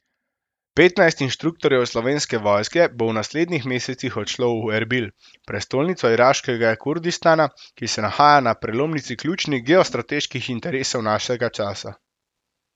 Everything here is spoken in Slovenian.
Petnajst inštruktorjev Slovenske vojske bo v naslednjih mesecih odšlo v Erbil, prestolnico iraškega Kurdistana, ki se nahaja na prelomnici ključnih geostrateških interesov našega časa.